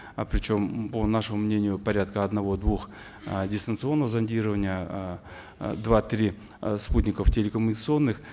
э причем по нашему мнению порядка одного двух э дистанционных зондирования э два три э спутников телекоммуникационных